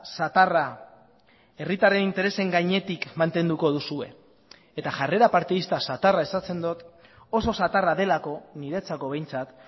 zatarra herritarren interesen gainetik mantenduko duzue eta jarrera partidista zatarra esaten dut oso zatarra delako niretzako behintzat